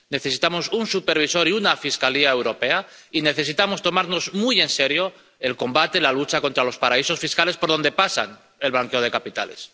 Necesitamos un supervisor y una Fiscalía Europea, y necesitamos tomarnos muy en serio el combate, la lucha contra los paraísos fiscales por donde pasa el blanqueo de capitales.